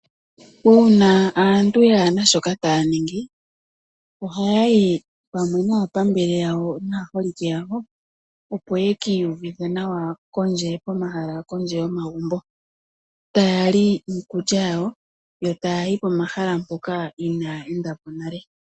Uuna aantu kaayena shoka taya ningi ohaya yi pamwe naapambele yawo naaholike yawo opo ye ki iyuvithe nawa komahala kondje yomagumbo, taya li iikulya yawo yo taya yi pomahala mpoka inaaya enda po nale.